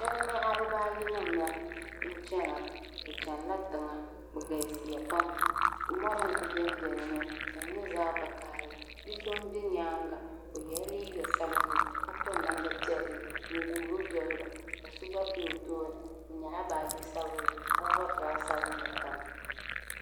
Shɛba n-nyaɣi bɛ baajinima la n-chana bɛ chanila tiŋa bɛ galisiya pam mɔri n-kuli benbe dini ka di nyɛ zaɣ'vakahili bi'so m-be nyaaŋa o yela liiga sabinli ka piri namda piɛlli n-guuri doli ba ka so gba be o tooni o nyaɣila baaji sabinli ka vari zaɣ'sabinli tiŋa.